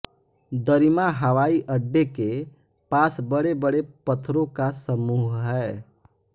दरिमा हवाई अड्डे के पास बड़े बड़े पत्थरों का समूह है